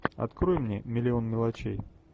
открой мне миллион мелочей